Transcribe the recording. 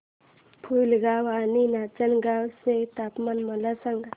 पुलगांव आणि नाचनगांव चे तापमान मला सांग